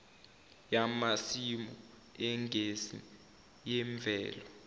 yamasimu egesi yemvelo